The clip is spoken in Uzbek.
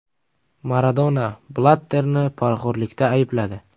Maradona Blatterni poraxo‘rlikda aybladi.